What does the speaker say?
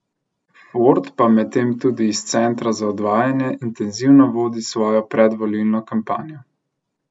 Ford pa medtem tudi iz centra za odvajanje intenzivno vodi svojo predvolilno kampanjo.